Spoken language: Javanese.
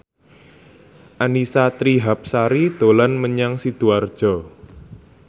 Annisa Trihapsari dolan menyang Sidoarjo